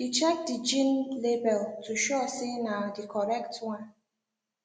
he check the jean label to sure say na the correct one